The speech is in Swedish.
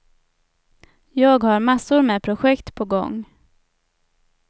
Jag har massor med projekt på gång.